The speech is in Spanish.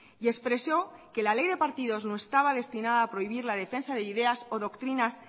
y expresó que la ley de partidos no estaba destinada a prohibir la defensa de ideas o doctrinas